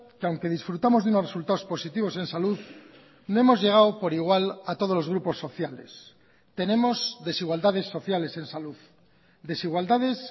que aunque disfrutamos de unos resultados positivos en salud no hemos llegado por igual a todos los grupos sociales tenemos desigualdades sociales en salud desigualdades